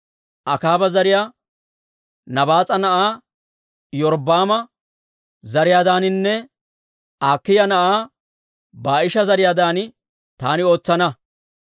Akaaba zariyaa Nabaas'a na'aa Iyorbbaama zariyaadaaninne Akiiya na'aa Baa'isha zariyaadan taani ootsana.